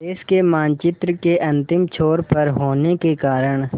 देश के मानचित्र के अंतिम छोर पर होने के कारण